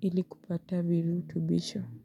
ili kupata virutubisho Muzika.